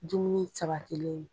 ji min sabatilen